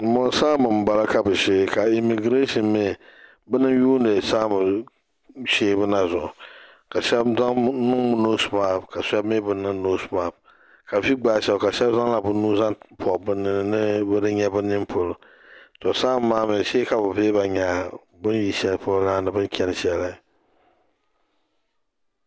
Bin bɔŋo saanba n bala ka bi shee ka imigirɛshin mi bini n yuuni saanba sheebu na zuɣu ka shɛba niŋ noosi maks ka shɛba mi bi niŋ noosi maks ka vi gbaayi shɛba ka shɛba zaŋ la bi nuu zaŋ pɔbi bi nini ni bi di nyɛ bi nini polo to saanba maa mi shee ka bi vihi ba nya bin yi shɛli polo na ni bin chani shɛli.